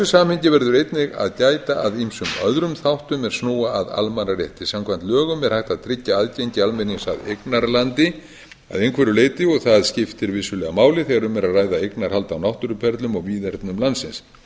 samhengi verður einnig að gæta að ýmsum öðrum þáttum er snúa að almannarétti samkvæmt lögum er hægt að tryggja aðgengi almennings að eignarlandi að einhverju leyti og það skiptir vissulega máli þegar um er að ræða eignarhald á náttúruperlum og víðernum landsins hitt